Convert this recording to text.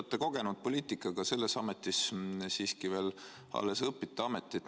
Te olete kogenud poliitik, aga selles ametis siiski veel alles õpite ametit.